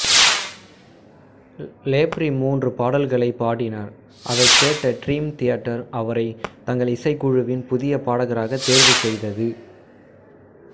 லேப்ரி மூன்று பாடல்களைப் பாடினார் அதைக் கேட்ட டிரீம் தியேட்டர் அவரை தங்கள் இசைக்குழுவின் புதிய பாடகராகத் தேர்வு செய்தது